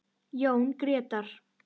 Jón Grétar.